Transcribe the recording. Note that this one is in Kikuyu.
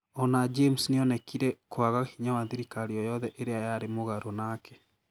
O na James nĩ onekire kwaga hinya wa thirikari o yothe ĩrĩa yarĩ mũgarũ nake.